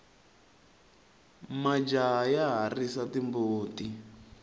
majaha ya risa timbuti